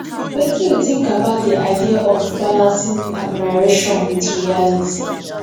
wetin you think about di idea of balancing admiration with reality